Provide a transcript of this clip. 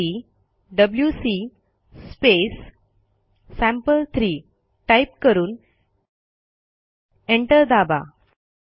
त्यासाठी WC sample three type करून enter दाबा